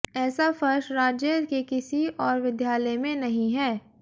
ऐसा फर्श राज्य के किसी और विद्यालय में नहीं हैं